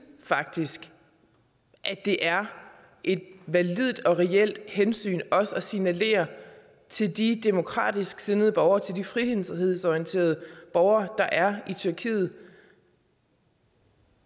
faktisk at det er et validt og reelt hensyn også at signalere til de demokratisk sindede borgere til de frihedsorienteret borgere der er i tyrkiet